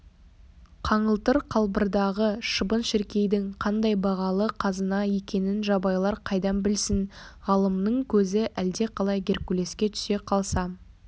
қаңылтыр қалбырдағы шыбын-шіркейдің қандай бағалы қазына екенін жабайылар қайдан білсін ғалымның көзі әлдеқалай геркулеске түсе қалса